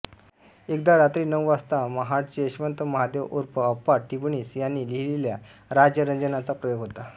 एकदा रात्री नऊ वाजता महाटचे यशवंत महादेव ऊर्फ अप्पा टिपणीस यांनी लिहिलेल्या राजरंजनचा प्रयोग होता